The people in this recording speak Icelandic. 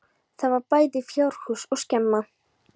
Þar var bæði fjárhús og skemma.